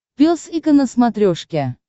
пес и ко на смотрешке